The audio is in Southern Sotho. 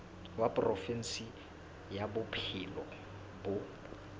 wa provinse ya bophelo bo